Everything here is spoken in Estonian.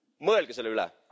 Mõelge selle üle!